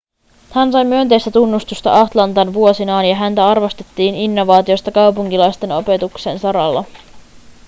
hän sai myönteistä tunnustusta atlantan vuosinaan ja häntä arvostettiin innovaatioista kaupunkilaislasten opetuksen saralla